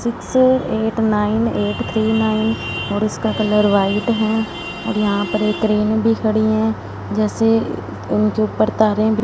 six eight nine eight three nine और इसका colour white है और यहां पर एक ट्रेन भी खड़ी है जैसे उनके ऊपर तारे भी--